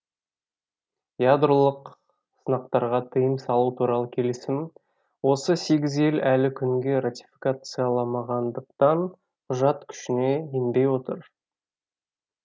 ядролық сынақтарға тиым салу туралы келісімді осы сегіз ел әлі күнге ратификацияламағандықтан құжат күшіне енбей отыр